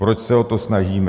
Proč se o to snažíme?